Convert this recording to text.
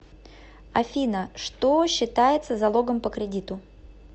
афина что считается залогом по кредиту